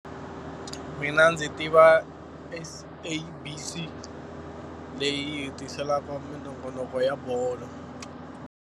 Mina ndzi tiva SABC leyi yi hi tiselaka minongonoko ya bolo.